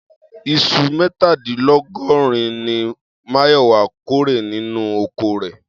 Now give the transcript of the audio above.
Is̩u mé̩tàdínló̩gó̩rin ni Máyò̩wá kórè nínú oko rè̩